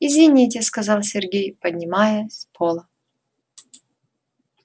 извините сказал сергей поднимаясь с пола